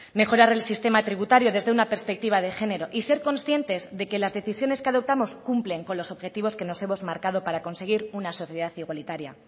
mejorar el sistema tributario desde una perspectiva de género y ser conscientes de que las decisiones que adoptamos cumplen con los objetivos que nos hemos marcado para conseguir una sociedad igualitaria